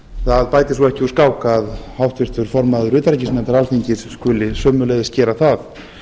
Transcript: það bætir svo ekki úr skák að háttvirtur formaður utanríkisnefndar alþingis skuli sömuleiðis gera það